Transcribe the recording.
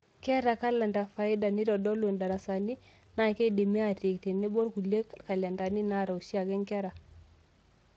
Keeta kalenda faida teneitodolu ndarasani, naa keidimi aatiik tenebo okulie kalendani naata oshiake nkera.